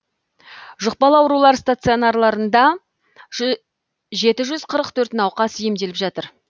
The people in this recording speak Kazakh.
жұқпалы аурулар стационарларында жеті жүз қырық төрт науқас емделіп жатыр